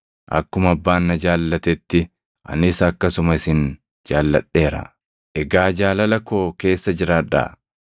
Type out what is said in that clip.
“Akkuma Abbaan na jaallatetti anis akkasuma isin jaalladheera. Egaa jaalala koo keessa jiraadhaa.